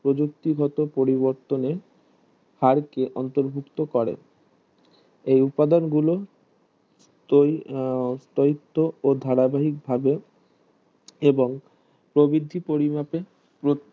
প্রযোক্তিগত পরিবর্তনে আরকে অন্তর্ভুক্ত করে এই উপাদান গুলো তৈরি আহ তৌইত্ত ও ধারাবাহীক ভাবে এবং প্রবিধি পরিমাপে প্রত্যেক